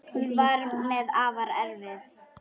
Hún var mér afar erfið.